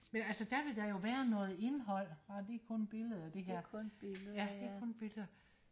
men altså der vil der jo være noget indhold ah det er kun billeder det her det er kun billeder